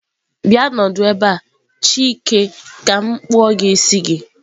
Bia nọdụ ebe a! chike ka m kpuo isi gi.